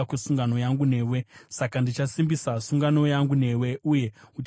Saka ndichasimbisa sungano yangu newe, uye uchaziva kuti ndini Jehovha.